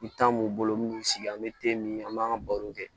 I tan b'u bolo n'u y'u sigi an be min an b'an ka baro kɛ